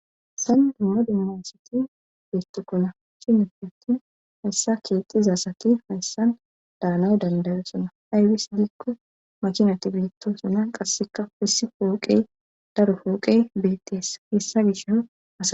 Haysan dumma dumma asati beettukkona shinifi attin hayssa keexxizasati hayssan daanay dandayosona aybis dikko machinati beettoosana qasseka wissi fooqey daro fooqey beetteessa hessa gish ha.